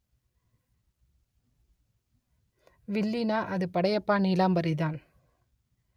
வில்லின்னா அது படையப்பா நீலாம்பரிதான்